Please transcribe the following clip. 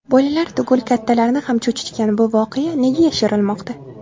Bolalar tugul kattalarni ham cho‘chitgan bu voqea nega yashirilmoqda?